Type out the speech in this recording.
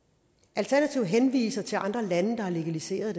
alternativet henviser til andre lande der har legaliseret